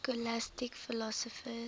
scholastic philosophers